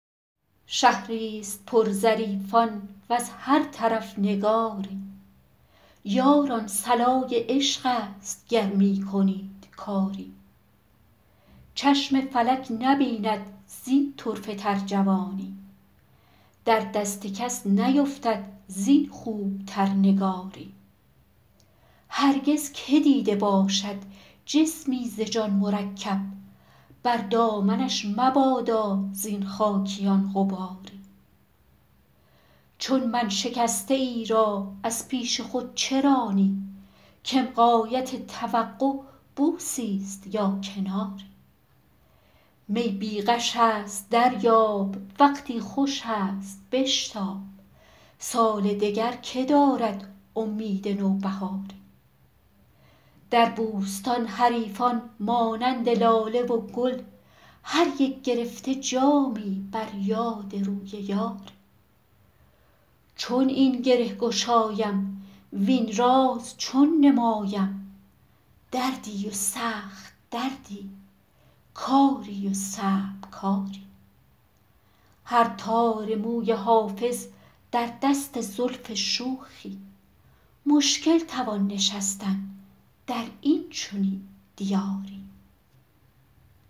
شهری ست پر ظریفان وز هر طرف نگاری یاران صلای عشق است گر می کنید کاری چشم فلک نبیند زین طرفه تر جوانی در دست کس نیفتد زین خوب تر نگاری هرگز که دیده باشد جسمی ز جان مرکب بر دامنش مبادا زین خاکیان غباری چون من شکسته ای را از پیش خود چه رانی کم غایت توقع بوسی ست یا کناری می بی غش است دریاب وقتی خوش است بشتاب سال دگر که دارد امید نوبهاری در بوستان حریفان مانند لاله و گل هر یک گرفته جامی بر یاد روی یاری چون این گره گشایم وین راز چون نمایم دردی و سخت دردی کاری و صعب کاری هر تار موی حافظ در دست زلف شوخی مشکل توان نشستن در این چنین دیاری